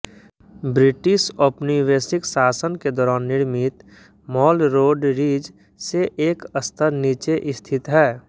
British औपनिवेशिक शासन के दौरान निर्मित मॉल रोड रिज से एक स्तर नीचे स्थित है